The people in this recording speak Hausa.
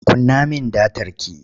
Kunna min datar ki!